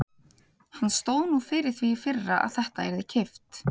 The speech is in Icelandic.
Hann stóð nú fyrir því í fyrra að þetta yrði keypt.